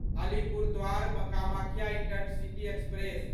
Alipurduar Kamakhya intercity express